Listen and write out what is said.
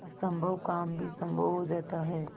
असम्भव काम भी संभव हो जाता है